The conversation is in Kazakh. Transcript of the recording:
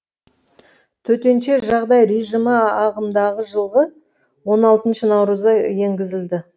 төтенше жағдай режимі ағымдағы жылғы он алтыншы наурызда енгізілді